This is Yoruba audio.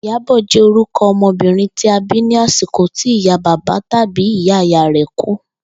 Ìyábò̩ jé̩ oruko o̩mo̩bìnrin tí a bí ní àsìkò tí ìyá bàbá tàbí ìyá ìyá rè̩ kú